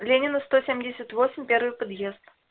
ленина сто семьдесят восемь первый подъезд